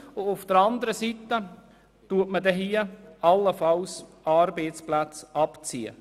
Auf der anderen Seite werden in diesem Fall Arbeitsplätze abgezogen.